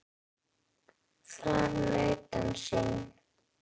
En þessar stelpur eru naglar.